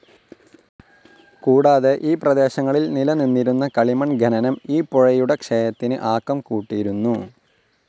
കൂടാതെ ഈ പ്രദേശങ്ങളിൽ നിലനിന്നിരുന്ന കളിമൺ ഖനനം ഈ പുഴയുടെ ക്ഷയത്തിന് ആക്കംകൂട്ടിയിരുന്നു.